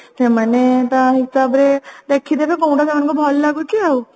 ସେମାନେ ତା ହିସାବରେ ଦେଖିଦେବେ କୋଉଟା ସେମାନଙ୍କୁ ଭଲ ଲାଗୁଛି ଆଉ